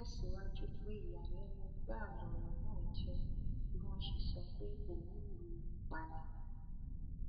ó tẹsíwájú pé ìyàlẹnu gbáà lọrọ náà jẹ bí wọn ṣe sọ pé òun lù ú pa ni